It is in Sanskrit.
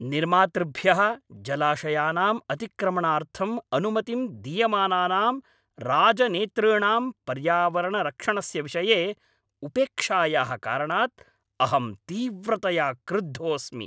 निर्मातृभ्यः जलाशयानाम् अतिक्रमणार्थम् अनुमतिं दीयमानानां राजनेतॄणाम् पर्यावरणसंरक्षणस्य विषये उपेक्षायाः कारणात् अहं तीव्रतया क्रुद्धोस्मि।